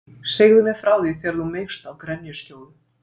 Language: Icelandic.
Segðu mér frá því þegar þú meigst á grenjuskjóðu.